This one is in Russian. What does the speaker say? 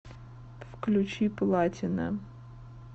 включи платина